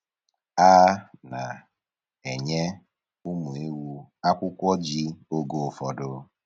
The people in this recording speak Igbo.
A na-enye ụmụ ewu akwụkwọ ji oge ụfọdụ.